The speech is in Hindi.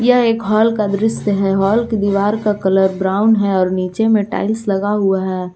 यह एक हॉल का दृश्य है हॉल की दीवार का कलर ब्राउन है और नीचे में टाइल्स लगा हुआ है।